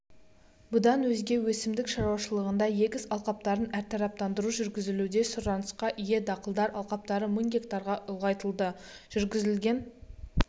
бұдан өзге өсімдік шаруашылығында егіс алқаптарын әртараптандыру жүргізілуде сұранысқа ие дақылдар алқаптары мың га ұлғайтылды жүргізілген